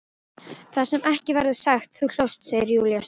Það sem ekki verður sagt Þú hlóst, segir Júlía sár.